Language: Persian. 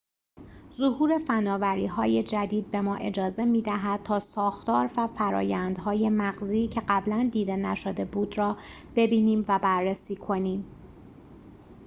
ظهور فناوری‌های جدید به ما اجازه می‌دهد تا ساختار و فرآیندهای مغزی که قبلاً دیده نشده بود را ببینیم و بررسی کنیم